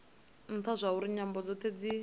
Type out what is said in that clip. ntha zwauri nyambo dzothe dzi